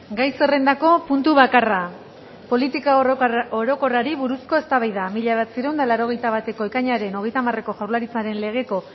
gai zerrendako puntu bakarra politika orokorrari buruzko eztabaida mila bederatziehun eta laurogeita bateko ekainaren hogeita hamareko jaurlaritzaren legeko